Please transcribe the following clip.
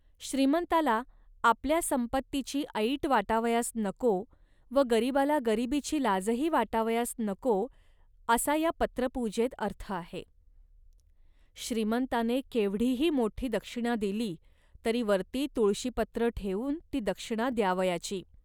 श्रीमंताला आपल्या संपत्तीची ऐट वाटावयास नको व गरिबाला गरिबीची लाजही वाटावयास नको, असा या पत्रपूजेत अर्थ आहे. श्रीमंताने केवढीही मोठी दक्षिणा दिली, तरी वरती तुळशीपत्र ठेवून ती दक्षिणा द्यावयाची